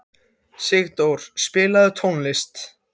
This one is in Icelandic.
Sigdór, spilaðu tónlist.